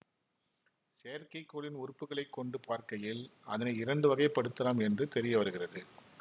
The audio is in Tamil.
செயற்கைக்கோளின் உறுப்புகளை கொண்டு பார்க்கையில் அதனை இரண்டு வகைப்படுத்தலாம் என்று தெரிய வருகிறது